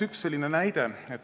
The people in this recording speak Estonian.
Üks näide.